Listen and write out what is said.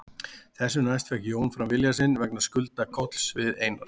Þessu næst fékk Jón fram vilja sinn vegna skulda Kolls við Einar